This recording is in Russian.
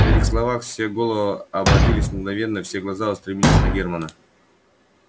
при этих словах все головы обратились мгновенно и все глаза устремились на германа